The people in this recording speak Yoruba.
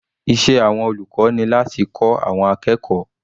Iṣẹ́ àwọn olùkọ́ ni láti kọ́ àwọn akẹ́kọ̀ọ́.